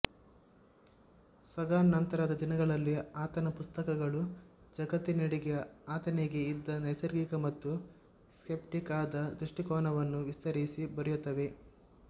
Sagan ನಂತರದ ದಿನಗಳಲ್ಲಿ ಆತನ ಪುಸ್ತಕಗಳು ಜಗತ್ತಿನೆಡೆಗೆ ಆತನಿಗೆ ಇದ್ದ ನೈಸರ್ಗಿಕ ಮತ್ತು ಸ್ಕೆಪ್ಟಿಕ್ ಆದ ದೃಷ್ಟಿಕೋನವನ್ನು ವಿಸ್ತರಿಸಿ ಬರೆಯುತ್ತವೆ